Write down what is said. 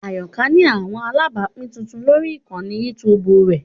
Ayoka ni awọn alabapin tuntun lori ikanni YouTube rẹ